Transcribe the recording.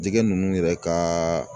Jɛgɛ ninnu yɛrɛ ka